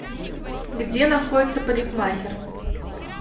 где находится парикмахер